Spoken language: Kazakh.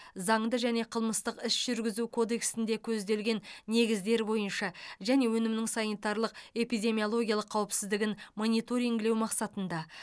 заңды және қылмыстық іс жүргізу кодексінде көзделген негіздер бойынша және өнімнің санитарлық эпидемиологиялық қауіпсіздігін мониторингілеу мақсатында